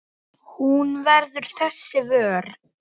Hún verður þess vör.